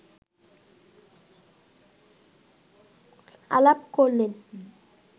আলাপ করলেন